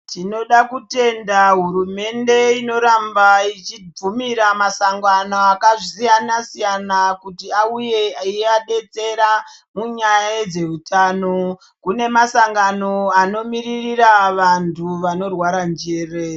Tinoda kutenda hurumende inoramba ichibvumira masangano akasiyana-siyana kuti auye eivadetsera mune zveutano. Kune masangano anomiririra vantu vanorwara njere.